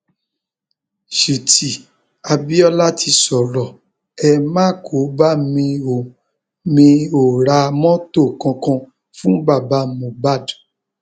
ṣùtì abiola ti sọrọ ẹ má kó bá mi ò mì ó ra mọtò kankan fún bàbá mohbad